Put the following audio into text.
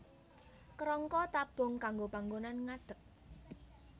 Kerangka tabung kanggo panggonan ngadeg